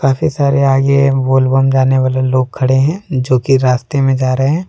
काफी सारे आगे बोल बम जाने वाला लोग खड़े हैं जो कि रास्ते में जा रहे हैं।